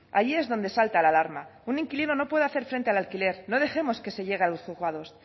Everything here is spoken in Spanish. ahí es donde salta la alarma un inquilino no puede hacer frente al alquiler no dejemos que se llega a los juzgados